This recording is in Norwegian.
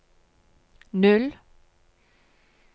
null